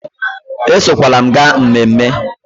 Esokwala m gaa ememme